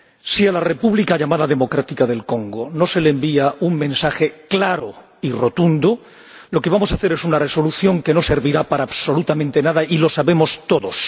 Si a la República llamada Democrática del Congo no se le envía un mensaje claro y rotundo, lo que vamos a hacer es una Resolución que no servirá para absolutamente nada y lo sabemos todos.